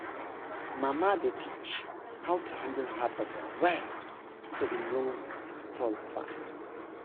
mama dey teach how to handle harvest well so e no spoil fast.